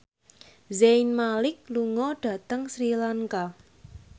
Zayn Malik lunga dhateng Sri Lanka